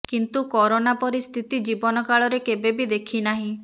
କିନ୍ତୁ କରୋନା ପରି ସ୍ଥିତି ଜୀବନକାଳରେ କେବେ ବି ଦେଖିନାହିଁ